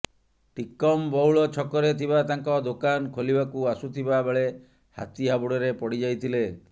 ଟିକମ ବଉଳ ଛକରେ ଥିବା ତାଙ୍କ ଦୋକାନ ଖୋଲିବାକୁ ଆସୁଥିବା ବେଳେ ହାତୀ ହାବୁଡ଼ରେ ପଡ଼ି ଯାଇଥିଲେ